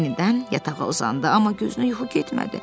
Yenidən yatağa uzandı, amma gözünə yuxu getmədi.